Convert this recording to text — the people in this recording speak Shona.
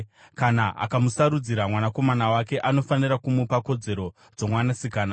Kana akamusarudzira mwanakomana wake, anofanira kumupa kodzero dzomwanasikana.